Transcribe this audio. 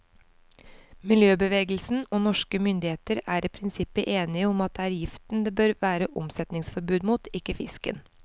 Miljøbevegelsen og norske myndigheter er i prinsippet enige om at det er giften det bør være omsetningsforbud mot, ikke fisken.